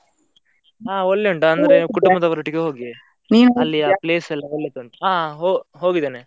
ಹಾ ಒಳ್ಳೆ ಉಂಟು ಅಂದ್ರೆ ಕುಟುಂಬದವರ ಒಟ್ಟಿಗೆ ಹೋಗಿ place ಎಲ್ಲ ಒಳ್ಳೆದುಂಟು, ಹಾ ಹೊ~ ಹೋಗಿದ್ದೇನೆ.